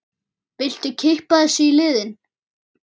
Viltu kippa þessu í liðinn?